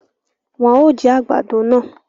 Wọn o jí àgbàdo náà